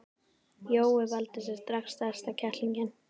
Jói valdi sér strax stærsta kettlinginn.